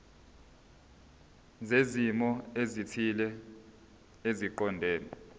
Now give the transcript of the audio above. zezimo ezithile eziqondene